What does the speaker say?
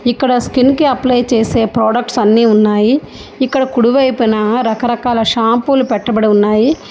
ఇక్కడ స్కిన్ కి అప్లై చేసే ప్రొడక్ట్స్ అన్నీ ఉన్నాయి ఇక్కడ కుడివైపున రకరకాల షాంపులు పెట్టబడి ఉన్నాయి.